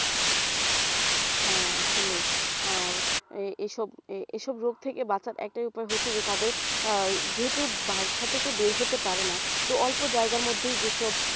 হ্যাঁ আসলেই আর এ এসব ~ এসব রোগ থেকে বাঁচার একটাই উপায় হচ্ছে যে তাদের আহ যেহেতু বাসা থেকে বের হতে পারেনা তো অল্প জায়গার মধ্যেই যেসব